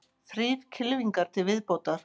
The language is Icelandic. Þrír kylfingar til viðbótar